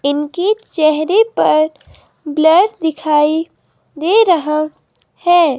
इनकी चेहरे पर ब्लर दिखाई दे रहा है।